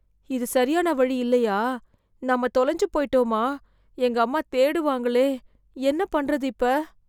இது சரியான வழி இல்லையா, நாம தொலைஞ்சு போய்ட்டோமா, எங்க அம்மா தேடுவாங்களே, என்ன பண்றது இப்ப.